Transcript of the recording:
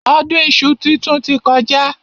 Ọdún iṣu titun ti kọjá.